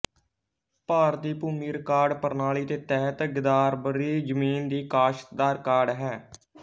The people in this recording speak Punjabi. ਭਾਰਤੀ ਭੂਮੀ ਰਿਕਾਰਡ ਪ੍ਰਣਾਲੀ ਦੇ ਤਹਿਤ ਗਿਦਾਰਵਰੀ ਜ਼ਮੀਨ ਦੀ ਕਾਸ਼ਤ ਦਾ ਰਿਕਾਰਡ ਹੈ